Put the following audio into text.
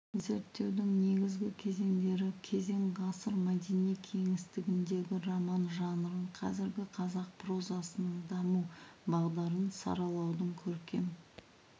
зерттеудің негізгі кезеңдері кезең ғасыр мәдени кеңістігіндегі роман жанрын қазіргі қазақ прозасының даму бағдарын саралаудың көркем